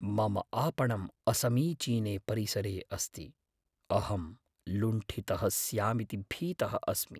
मम आपणं असमीचीने परिसरे अस्ति। अहं लुण्ठितः स्यामिति भीतः अस्मि।